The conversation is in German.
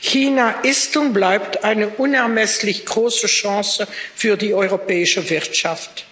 China ist und bleibt eine unermesslich große Chance für die europäische Wirtschaft.